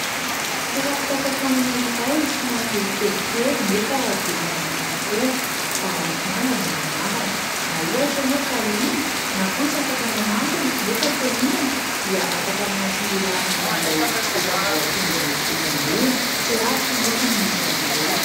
Toeram-pisakafoanana iray somary kelikely nefa be mpanjifa tokoa. Balafomanga no anarany. Raha ohatra ianao ka liana na koa tsy afaka manantona nefa te ihinana dia afaka miantso ny laharana izay efa voatondro etsy ambony. Tsy lavitra anefa no misy azy ireo.